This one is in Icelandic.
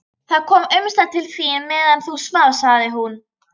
Það kom umslag til þín meðan þú svafst, sagði hún.